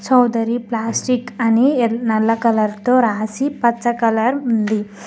Chowdary plastic అని నల్ల colour తో రాసి పచ్చ కలర్ ఉంది.